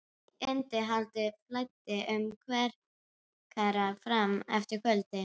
Innihaldið flæddi um kverkarnar fram eftir kvöldi.